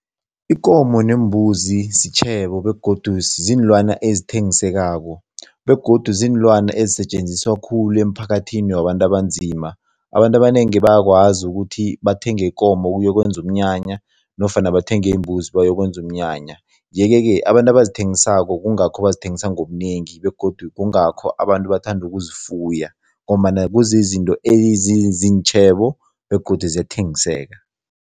Ikomo neembuzi sitjhebo begodu ziinlwana ezithengisekako begodu ziinlwana ezisetjenziswa khulu emphakathini wabantu abanzima. Abantu abanengi bayakwazi ukuthi bathenge ikomo ukuyokwenza umnyanya nofana bathenge imbuzi bayokwenza umnyanya yeke-ke abantu abazithengisako kungakho bazithengisa ngobunengi begodu kungakho abantu bathanda ukuzifuya ngombana kuzizinto ezizintjhebo begodu ziyathengiseka.